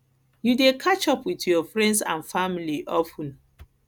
you dey catch up with your friends and family of ten